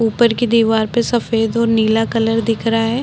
ऊपर की दिवार पे सफ़ेद और नीला कलर दिख रहा है। ।